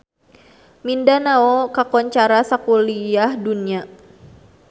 Mindanao kakoncara sakuliah dunya